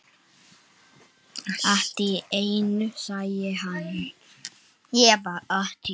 Allt í einu sagði hann